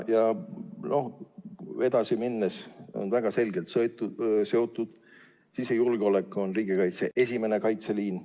Sellega on väga selgelt seotud sisejulgeolek, mis on riigikaitse esimene kaitseliin.